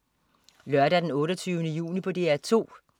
Lørdag den 28. juni - DR 2: